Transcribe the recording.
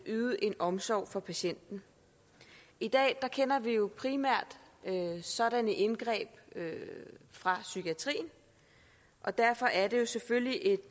yde en omsorg for patienten i dag kender vi jo primært sådanne indgreb fra psykiatrien og derfor er det selvfølgelig